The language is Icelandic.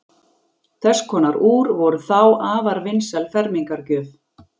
Þess konar úr voru þá afar vinsæl fermingargjöf.